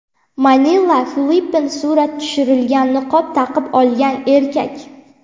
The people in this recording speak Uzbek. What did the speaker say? Manila, Filippin Surat tushirilgan niqob taqib olgan erkak.